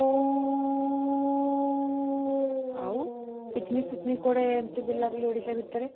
ଆଉ, picnic କୁଆଡ଼େ ଏମିତି ବୁଲାବୁଲି, ଓଡ଼ିଶା ଭିତରେ?